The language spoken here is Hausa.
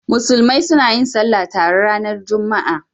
Musulmi suna yin Sallah tare ranar Juma'a.